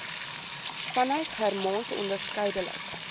vanuit germaans onderskeidelik